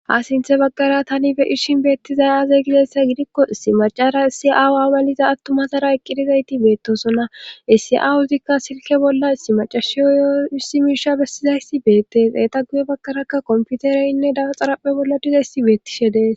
ha sinthe baggara tani be ishin beettizay aze gidessa gidikko issi macara issi aawu amaliza attumasara eqqidizayti beettosona issi7awuuzikka silke bolla issi macashiyo youssimiisha bessizaysi beettes eeta guye baggarakka komputereynne dawaxarappe bolla diza issi beettishe dees